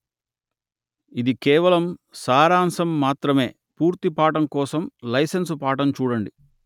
ఇది కేవలం సారాంశం మాత్రమే పూర్తి పాఠం కోసం లైసెన్సు పాఠం చూడండి